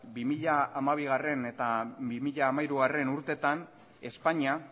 bi mila hamabigarrena eta bi mila hamairugarrena urteetan espainia